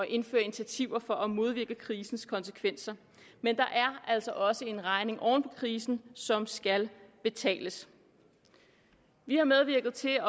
indføre initiativer for at modvirke krisens konsekvenser men der er altså også en regning oven på krisen som skal betales vi har medvirket til at